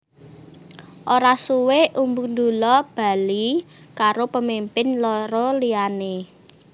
Ora suwé Umbu Dulla bali karo pemimpin loro liyané